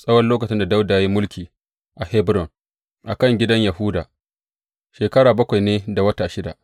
Tsawon lokacin da Dawuda ya yi mulki a Hebron a kan gidan Yahuda, shekara bakwai ne da wata shida.